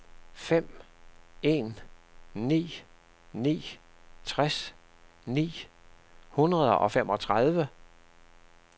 fem en ni ni tres ni hundrede og femogtredive